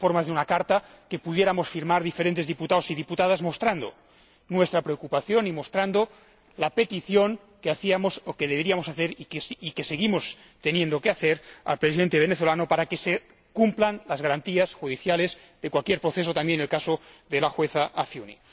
Quizás, en forma de una carta que pudiéramos firmar diferentes diputados y diputadas mostrando nuestra preocupación y mostrando la petición que hacíamos o que deberíamos hacer y que seguimos teniendo que hacer al Presidente venezolano para que se cumplan las garantías judiciales de cualquier proceso, también en el caso de la jueza Afiuni.